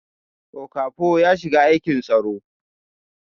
Okafo ya shiga aikin tsaro